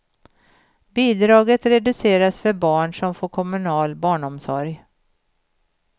Bidraget reduceras för barn som får kommunal barnomsorg.